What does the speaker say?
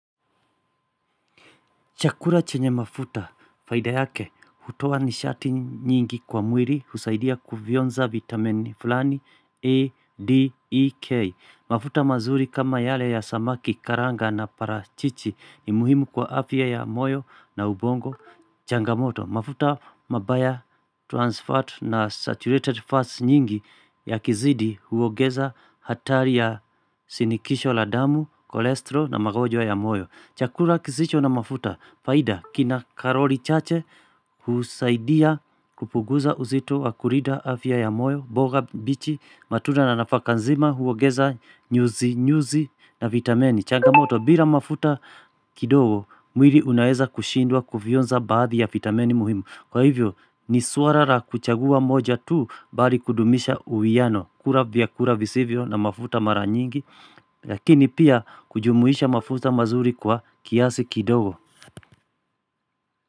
Chakula chenye mafuta, faida yake, hutoa nishati nyingi kwa mwili, husaidia kuvionza vitamin fulani, A, D, E, K. Mafuta mazuri kama yale ya samaki, karanga na parachichi ni muhimu kwa afya ya moyo na ubongo, changamoto. Mafuta mabaya trans fat na saturated fat nyingi ya kizidi huogeza hatari ya sinikisho la damu, kolesterol na magwojo ya moyo. Chakula kisicho na mafuta, faida kina karoli chache kusaidia kupuguza uzito wa kulida afya ya moyo, mboga mbichi, matunda na nafakanzima, huogeza nyuzi nyuzi na vitamini. Changamoto, bila mafuta kidogo, mwiri unaeza kushindwa kuvyonza baadhi ya vitamini muhimu. Kwa hivyo ni swala la kuchagua moja tuu bali kudumisha uwiano kula vya kula visivyo na mafuta maranyingi Lakini pia kujumuisha mafuta mazuri kwa kiasi kidogo.